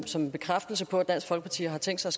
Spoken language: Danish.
som en bekræftelse på at dansk folkeparti har tænkt sig